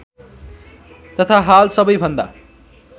तथा हाल सबैभन्दा